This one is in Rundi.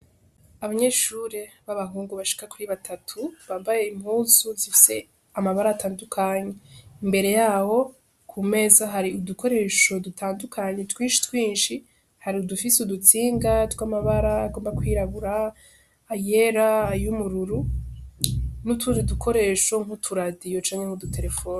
Abanyeshure b'abahungu bashika kuri batatu , bambaye impuzu zifise amabara atandukanye, imbere yabo ku meza hari udukoresho dutandukanye twinshi twinshi, hari udufise udutsinga tw'amabara agomba kwirabura ayera, ay'ubururu n'utundi dukoresho nk'uturadiyo canke nk'uduterefone.